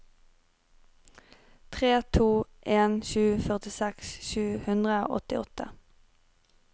tre to en sju førtiseks sju hundre og åttiåtte